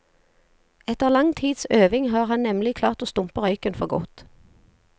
Etter lang tids øving har han nemlig klart å stumpe røyken for godt.